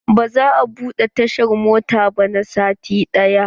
Ba za a buɗe tashar mota ba na sati ɗaya.